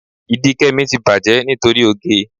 Ìdí Kẹ́mi ti bàjẹ́ nítorí oge.